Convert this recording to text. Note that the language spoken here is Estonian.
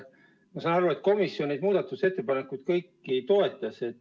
Ma saan aru, et komisjon neid muudatusettepanekuid kõiki toetas.